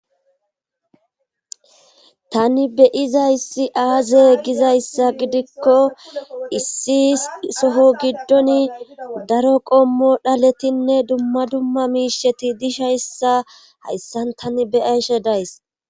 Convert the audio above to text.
tani beyizayssi aaze gizayssa gidikko issi soho giddon daro qommo dhaletinne dumma dumma miisheti dishayssa hayssan tani beyayshe days